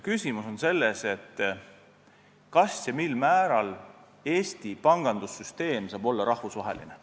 Küsimus on selles, kas ja mil määral Eesti pangandussüsteem saab olla rahvusvaheline.